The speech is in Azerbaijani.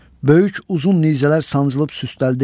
Böyük uzun nizələr sancılıb süsdəldi.